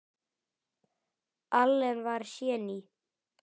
Allen var séní.